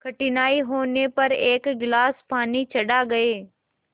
कठिनाई होने पर एक गिलास पानी चढ़ा गए